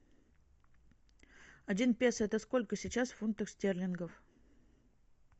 один песо это сколько сейчас фунтов стерлингов